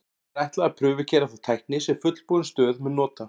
Því er ætlað að prufukeyra þá tækni sem fullbúin stöð mun nota.